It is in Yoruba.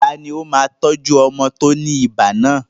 Tani ó máa tọ́jú ọmọ tó ní ibà náà?